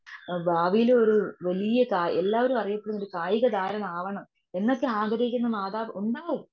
ഭാവിയിലെ ഒരു വല്യ കായി എല്ലാവരും അറിയപ്പെടുന്ന ഒരു കായിക താരം ആവണം. എന്നൊക്കെ ആഗ്രഹിക്കുന്ന മാതാവ് ഉണ്ടാവും.